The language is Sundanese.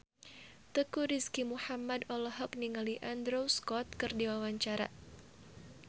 Teuku Rizky Muhammad olohok ningali Andrew Scott keur diwawancara